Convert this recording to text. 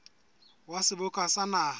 wa seboka sa naha le